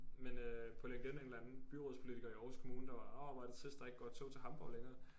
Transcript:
Men øh på LinkedIn en eller anden byrådspolitiker i Aarhus kommune der var orh hvor er det trist der ikke går tog til Hamborg længere